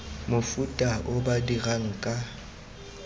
mofuta o ba dirang ka